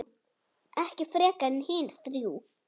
Ekki frekar en hin þrjú.